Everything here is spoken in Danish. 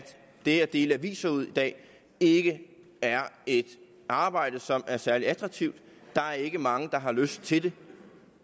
det at dele aviser ud i dag ikke er et arbejde som er særlig attraktivt der er ikke mange der har lyst til det